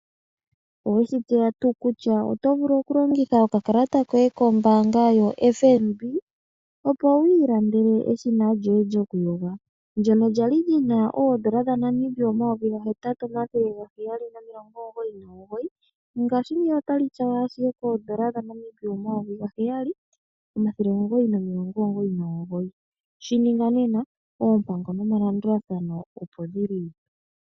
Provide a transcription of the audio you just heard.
Oweshi tseya tuu kutya oto vulu okulongitha okakalata koye kombaanga yoFNB opo wiilandele eshina lyoye lyokuyoga, ndjono lyali li na oodola dhaNamibia omayovi ga hetatu, omathele ga heyali nomilongo omugoyi nomugoyi. Ngashingeyi otali tyawa ashike koodola dhaNamibia omayovi gaheyali, omathele omugoyi nomilongo omugoyi nomugoyi. Shininga nena, oompango nomalandulathano opo dhili.